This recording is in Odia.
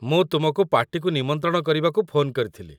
ମୁଁ ତୁମକୁ ପାର୍ଟିକୁ ନିମନ୍ତ୍ରଣ କରିବାକୁ ଫୋନ୍ କରିଥିଲି ।